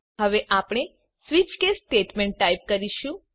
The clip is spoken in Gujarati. હવે આપણે સ્વીચ કેસ સ્ટેટમેન્ટ ટાઇપ કરીશું